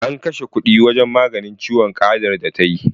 An kashe kuɗi wajen maganin ciwon ƙadar da ta yi.